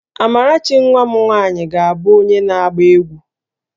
Amarachi nwa m nwaanyị ga-abụ onye na-agba egwu